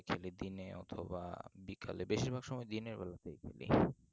খেলি দিনে অথবা বিকালে বেশিরভাগ সময় দিনের বেলায় খেলি